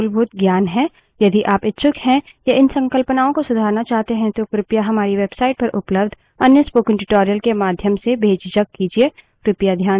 यदि आप इच्छुक हैं या इन संकल्पनाओं को सुधारना चाहते हैं तो कृपया हमारी website पर उपलब्ध अन्य spoken tutorial के माध्यम से बेझिझक कीजिए